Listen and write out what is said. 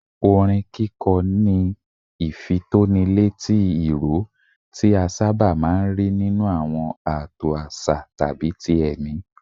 Orin kíkọ ní ìfitónilétí ìró, tí a sábà máa ń rí nínú àwọn ààtò àṣà tàbí ti ẹ̀mí